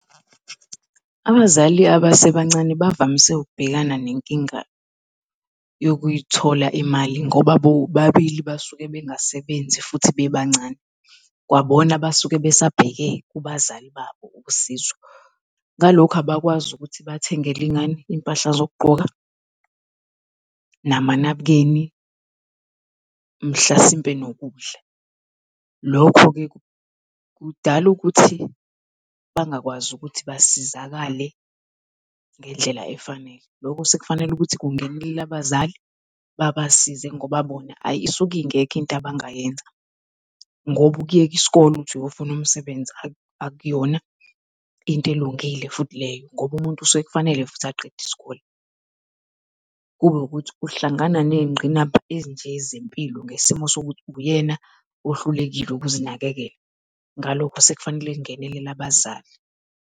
Abazali abasebancane bavamise ukubhekana nenkinga yokuyithola imali, ngoba bobabili basuke bengasebenzi futhi bebancane. Kwabona basuke besabheke kubazali babo usizo. Ngalokho abakwazi ukuthi bathengele ingane izimpahla zokugqoka, namanabukeni, mhlasimpe nokudla. Lokho-ke kudala ukuthi bangakwazi ukuthi basizakale ngendlela efanele. Loku sekufanele ukuthi kungenelele abazali babasize ngoba bona hayi isuke ingekho into abangayenza, ngoba ukuyeka isikole uthi uyofuna umsebenzi akuyona into ilungile futhi leyo ngoba umuntu usuke kufanele kuthi aqede isikole. Kube ukuthi uhlangana neyingqinamba ezinje zempilo ngesimo sokuthi uyena ohlulekile ukuzinakekela, ngalokho sekufanele kungenelele abazali.